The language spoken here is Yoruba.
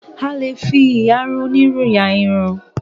A lè fi ìyarun onírù la irun.